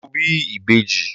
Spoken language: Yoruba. Mo bí ìbejì.